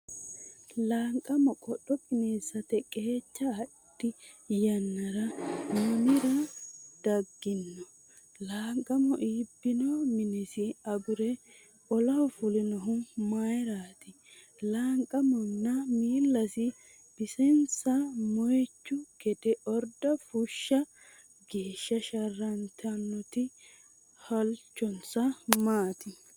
Laanqamo qodho qineessate qeecha adhe yannara mamira gaadino? Laanqamo iibbino minesi agure olaho fulinohu mayraati? Laanqamonna miillasi bisinsa moychu gede orda fushsha geeshsha sharrantinoti halchonsa maati?